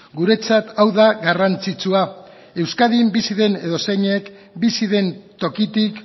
guretzat hau da garrantzitsua euskadin bizi den edozeinek bizi den tokitik